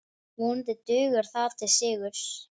Vonandi dugar það til sigurs.